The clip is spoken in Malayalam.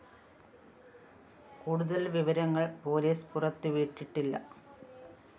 കൂടുതല്‍ വിവരങ്ങള്‍ പോലീസ് പുറത്തുവിട്ടിട്ടില്ല